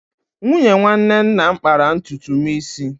Nwunye nwanne nna m kpara ntutu m isi.